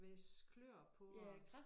Hvæsse kløer på og